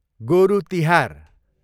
गोरु तिहार